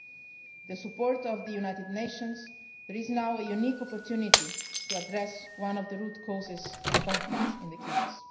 With the support of the United Nations, there is now a unique opportunity to address one of the root causes of conflicts in the Kivus.